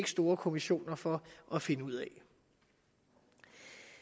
store kommissioner for at finde ud af